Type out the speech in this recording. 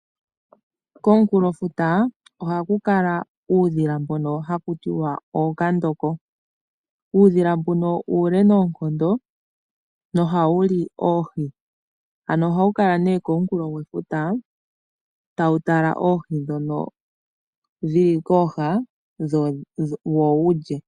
Komunkulofuta oha kukala uudhila mboka haku tiwa kutya ookandoko. Uudhila mbuka uule noonkondo, noha wu li oohi. Oha wu kala komunkulo gwefuta ta wu tala oohi ndhoka dhili kooha, wo wulye.